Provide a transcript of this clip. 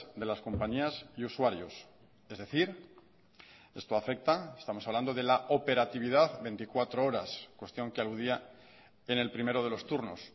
de las compañías y usuarios es decir esto afecta estamos hablando de la operatividad veinticuatro horas cuestión que aludía en el primero de los turnos